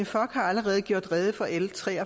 tak